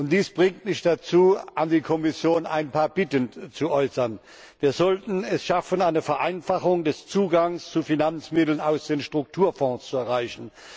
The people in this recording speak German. Dies bringt mich dazu, an die Kommission ein paar Bitten zu äußern Wir sollten es schaffen, eine Vereinfachung des Zugangs zu Finanzmitteln aus den Strukturfonds zu erreichen.